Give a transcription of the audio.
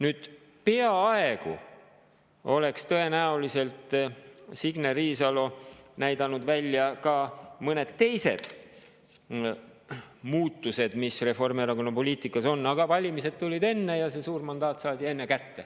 Signe Riisalo oleks tõenäoliselt näidanud välja ka mõned teised muutused, mis Reformierakonna poliitikas olid, aga enne tulid valimised ja see suur mandaat saadi kätte.